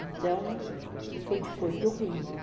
Então, foi depois do Rio.